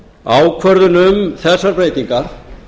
ákvörðun um þessar breytingar